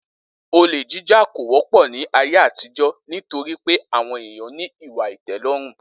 Olè jíjà kò wó̩pò̩ ní ayé àtijó̩ nítorí pé àwo̩n èèyàn ní ìwà ìté̩ló̩rùn